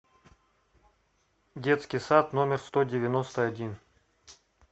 детский сад номер сто девяносто один